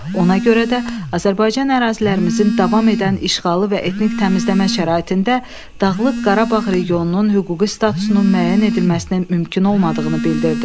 Ona görə də Azərbaycan ərazilərimizin davam edən işğalı və etnik təmizləmə şəraitində Dağlıq Qarabağ regionunun hüquqi statusunun müəyyən edilməsinin mümkün olmadığını bildirdi.